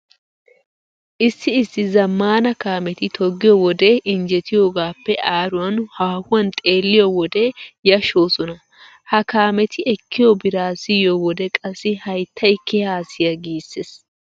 Issi issi zammaana kaameti toggiyo wode injjetiyogaappe aaruwan haahuwan xeelliyo wode yashshoosona. Ha kaameti ekkiyo biraa siyiyo wode qassi hayttay kehaa siya giissees.